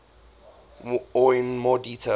or in more detail